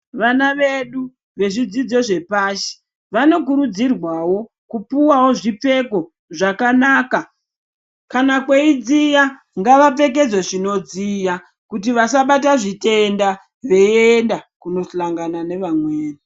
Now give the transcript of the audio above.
Vana vedu vezvidzidzo zvepashi vanokurudzirwawo kupuwawo zvipfeko zvakanaka kana kweidziya ngavapfekedzwe zvinodziya kuti vasabata zvitenda veienda kundohlangana nevamwmeni.